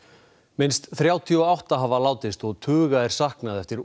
minnst þrjátíu og átta hafa látist og tuga er saknað eftir